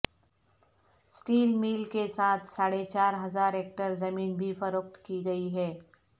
steel mill کے ساتھ ساڑھے چار ہزار ایکڑ زمین بھی فروخت کی گئی ہے